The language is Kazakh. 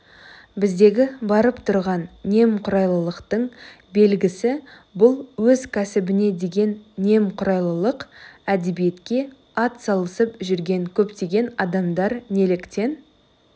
біздегі барып тұрған немқұрайлылықтың белгісі бұл өз кәсібіне деген немқұрайлылық әдебиетке атсалысып жүрген көптеген адамдар неліктен